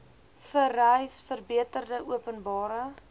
vereis verbeterde openbare